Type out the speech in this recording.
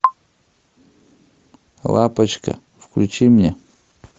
лапочка включи мне